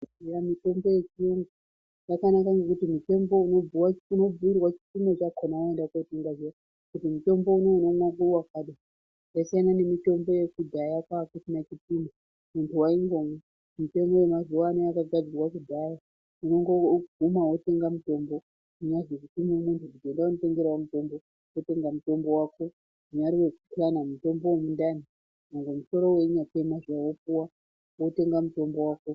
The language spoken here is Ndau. Eya mitombo yechiyungu yakanaka ngekuti mutombo uyu unobhuyirwa chipimo chakona waenda kunotenga zviya, kuti mutombo uno unomwa mukuwo wakati. Zvasiyana nemitombo yekudhaya kwakusina chipimo. Muntu waingomwa. Mitombo yemazuvano yakagadzirwa kudhaya. Unongoguma wotenga mutombo. Kunyazi kutume muntu kuti enda wonditengerawo mutombo, wotenga mutombo wako. Kunyari wekuhlanya, mutombo wemundani nyangwe musoro wechinyatema zviya, wotenga mutombo wako.